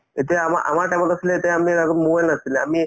এতিয়া আমা আমাৰ time ত আছিলে এতিয়া আমি হাতত mobile নাছিলে আমি